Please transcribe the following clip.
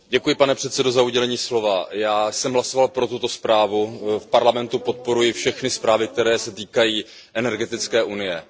Pane předsedající, já jsem hlasoval pro tuto zprávu, v Parlamentu podporuji všechny zprávy, které se týkají energetické unie.